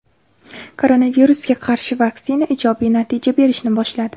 Koronavirusga qarshi vaksina ijobiy natijalar berishni boshladi.